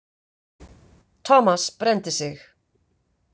Thomas brenndi sig.